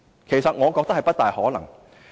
其實，我認為不大可能。